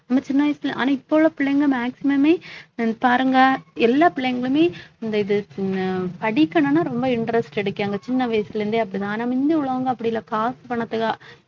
நம்ம சின்ன வயசுல ஆனா இப்ப உள்ள பிள்ளைங்க maximum மே பாருங்க எல்லா பிள்ளைங்களுமே இந்த இது படிக்கணும்ன்னா ரொம்ப interest கிடைக்கும் அந்த சின்ன வயசுல இருந்தே அப்படிதான் ஆனா முந்தி உள்ளவங்க அப்படி இல்ல காசு பணத்துக்கா